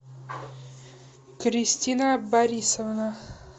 кристина борисовна